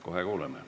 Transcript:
Kohe kuuleme.